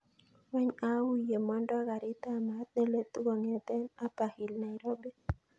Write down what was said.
Wany au yemondo garit ab maat neletu kongeten upperhill nairobi